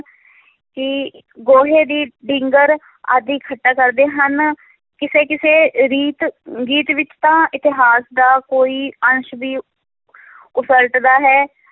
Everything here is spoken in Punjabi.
ਗੋਹੇ ਦੀ ਢਿੰਗਰ ਆਦਿ ਇਕੱਠਾ ਕਰਦੇ ਹਨ, ਕਿਸੇ ਕਿਸੇ ਰੀਤ ਗੀਤ ਵਿੱਚ ਤਾਂ ਇਤਿਹਾਸ ਦਾ ਕੋਈ ਅੰਸ਼ ਵੀ ਉਸਲਟਦਾ ਹੈ,